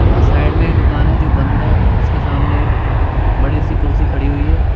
Side में एक दुकान है जो बंद है उसके सामने बड़ी सी कुर्सी खड़ी हुई है।